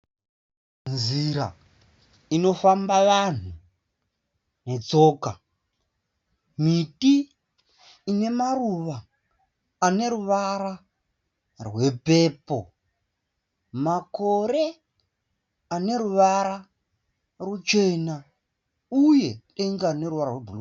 Nzira inofamba vanhu netsoka. Miti ine maruva ane ruvara rwepepo. Makore ane ruvara ruchena uye denga rine ruvara rwebhuruu.